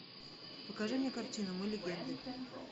покажи мне картину мы легенды